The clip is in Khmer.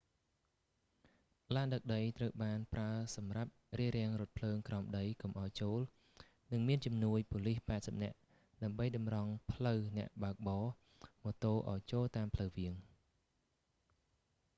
ឡានដឹកដីត្រូវបានប្រើសម្រាប់រារាំងរថភ្លើងក្រោមដីកុំឱ្យចូល និងមានជំនួយប៉ូលីស80នាក់ ដើម្បីតម្រង់ផ្លូវអ្នកបើកបរម៉ូតូឱ្យចូលតាមផ្លូវវាង